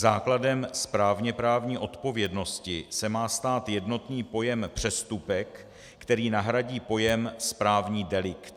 Základem správněprávní odpovědnosti se má stát jednotný pojem přestupek, který nahradí pojem správní delikt.